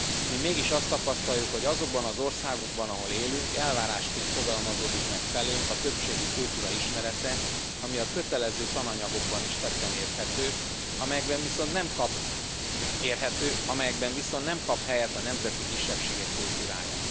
Mi mégis azt tapasztaljuk, hogy azokban az országokban, ahol élünk, elvárásként fogalmazódik meg felénk a többségi kultúra ismerete, ami a kötelező tananyagokban is tetten érhető, amelyekben viszont nem kap helyet a nemzeti kisebbségek kultúrája.